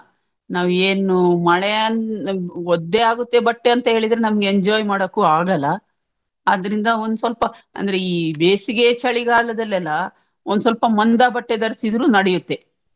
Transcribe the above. ನಾವ್ ಏನು ಮಳೆಯಲ್ ಒದ್ದೆ ಆಗುತ್ತೆ ಬಟ್ಟೆ ಅಂತೇಳಿದ್ರೆ ನಮ್ಗೆ enjoy ಮಾಡೋಕು ಆಗಲ್ಲ ಅದ್ರಿಂದ ಒಂದ್ ಸ್ವಲ್ಪ ಅಂದ್ರೆ ಈ ಬೇಸಿಗೆ ಚಳಿಗಾಲದಲ್ಲೆಲ್ಲಾ ಒಂದ್ ಸ್ವಲ್ಪ ಮಂದ ಬಟ್ಟೆ ಧರಿಸಿದ್ರು ನಡಿಯುತ್ತೆ.